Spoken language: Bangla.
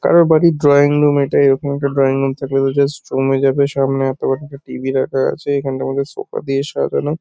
কারোর বাড়ির ড্রয়িং রুম এটা। এরকম একটা ড্রয়িং রুম থাকলে তো জাস্ট জমে যাবে। সামনে এত বড় একটা টি.ভি. রাখা আছে। এখানটার মধ্যে সোফা দিয়ে সাজানো।